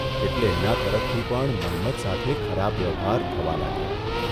એટલે એના તરફતી પણ મન્મથ સાથે ખરાબ વ્યવહાર થવા લાગ્યો.